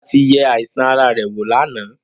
Dọ́kítà ti yẹ àìsàn ara rẹ̀ wò lánàá.